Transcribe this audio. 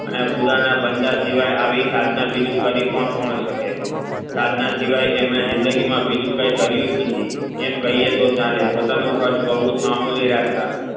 અને ખુદા ના બંદા સિવાય આવી સાધના કરી પણ કોણ શકે સાધના સિવાય એમને જિંદગી માં કઈ કર્યુજ નથી એમ કહીયે તો ચાલે પોતાનું પદ બૌ મામૂલી રાખતા